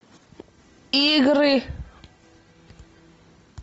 игры